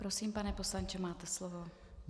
Prosím, pane poslanče, máte slovo.